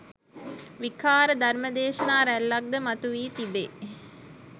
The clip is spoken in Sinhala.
විකාර ධර්ම දේශනා රැල්ලක් ද මතු වී තිබේ